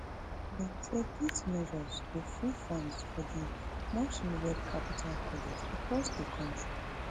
dem say dis measures go free funds for di muchneeded capital projects across di kontri